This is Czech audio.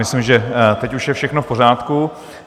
Myslím, že teď už je všechno v pořádku.